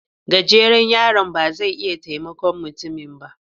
Gajeren yaron ba zai iya taimakon mutumin ba